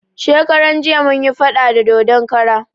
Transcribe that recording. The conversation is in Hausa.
Shekaran jiya mun yi faɗa da dodon kara